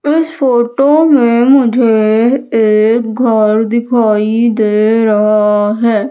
इस फोटो में मुझे एक घर दिखाई दे रहा है।